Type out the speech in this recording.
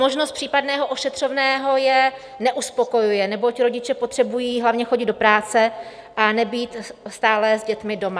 Možnost případného ošetřovného je neuspokojuje, neboť rodiče potřebují hlavně chodit do práce a nebýt stále s dětmi doma.